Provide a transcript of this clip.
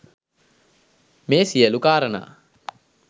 මේ සියලු කාරණා